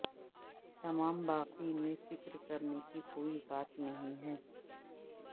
تمام باقی میں فکر کرنے کی کوئی بات نہیں ہے